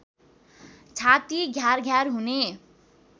छाति घ्यार घ्यार हुने